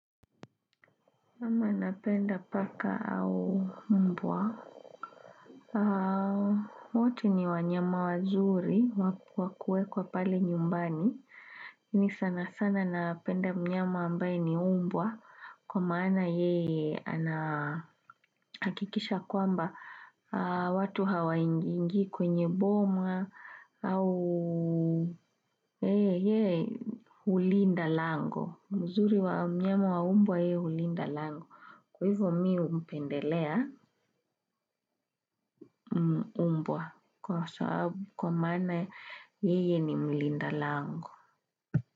Mimi napenda paka au mbwa wote ni wanyama wazuri wa kuekwa pale nyumbani. Lakini sana sana napenda mnyama ambaye ni mbwa. Kwa maana yeye anahakikisha kwamba watu hawaingii kwenye boma au hulinda lango. Uzuri wa mnyama wa mbwa yeye hulinda lango. Kwa hivyo mi humpendelea. Mbwa kwa maana yeye ni mlinda lango.